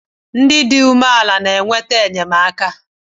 Ndị dị umeala na-anata enyemaka